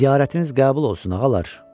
Ziyarətiniz qəbul olsun, ağalar!